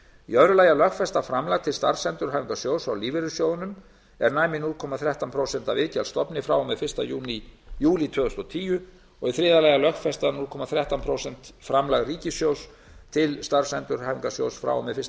í öðru lagi að lögfesta framlag til starfsendurhæfingarsjóðs frá lífeyrissjóðunum er næmi núll komma þrettán prósent af iðgjaldastofni frá og með fyrsta júlí tvö þúsund og tíu og í þriðja lagi að lögfesta núll komma þrettán prósent framlag ríkissjóðs til starfsendurhæfingarsjóðs frá og með fyrsta